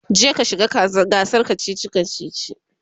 je ka shiga gasar kachichi kachichi!